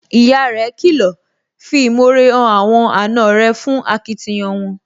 Ìyá rẹ̀ kìlọ̀, 'fi ìmore hàn àwọn àna rẹ̀ fún akitiyan wọn,